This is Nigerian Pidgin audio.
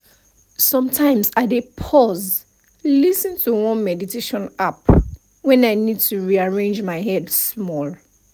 sometimes i dey pause lis ten to one meditation app when i need to rearrange my head small